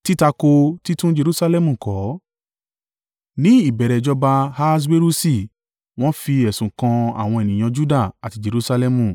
Ní ìbẹ̀rẹ̀ ìjọba Ahaswerusi wọ́n fi ẹ̀sùn kan àwọn ènìyàn Juda àti Jerusalẹmu.